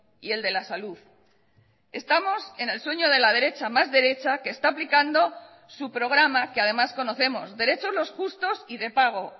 y el de la salud estamos en el sueño de la derecha más derecha que está aplicando su programa que además conocemos derechos los justos y de pago